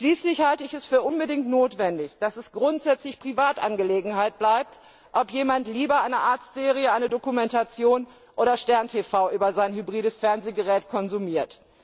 Schließlich halte ich es für unbedingt notwendig, dass es grundsätzlich Privatangelegenheit bleibt, ob jemand lieber eine Arztserie, eine Dokumentation oder Stern TV über sein hybrides Fernsehgerät konsumiert.